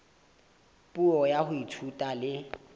puo ya ho ithuta le